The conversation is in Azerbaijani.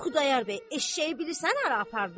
Xudayar bəy eşşəyi bilirsən hara apardı?